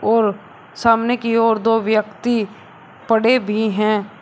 और सामने की ओर दो व्यक्ति पड़े भी है।